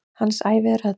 Hans ævi er öll.